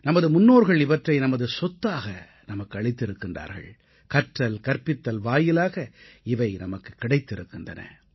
நமது முன்னோர்கள் இவற்றை நமது சொத்தாக நமக்கு அளித்திருக்கிறார்கள் கற்றல் கற்பித்தல் வாயிலாக இவை நமக்குக் கிடைத்திருக்கின்றன